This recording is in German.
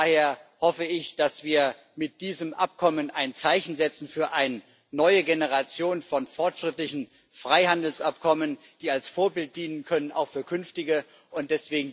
Von daher hoffe ich, dass wir mit diesem Abkommen ein Zeichen setzen für eine neue Generation von fortschrittlichen Freihandelsabkommen, die als Vorbild auch für künftige Abkommen dienen können.